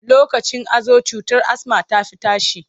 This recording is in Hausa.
Lokacin hazo cutar asma ta fi tashi.